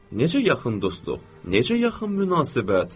Necə yaxın dostluq, necə yaxın münasibət.